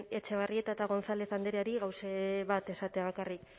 etxebarrieta eta gonzález andreari gauze bat esatea bakarrik